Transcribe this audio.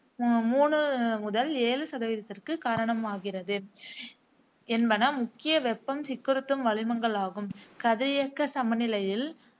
அஹ் மூணு முதல் ஏழு சதவீதத்திற்கு காரணமாகிறது என்பன முக்கிய வெப்பம் சிக்குறுத்தும் வளிமங்களாகும். கதிரியக்க சமநிலையில்